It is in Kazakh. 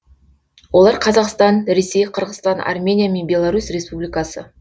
олар қазақстан ресей қырғызстан армения мен беларусь республикасы